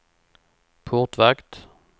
portvakt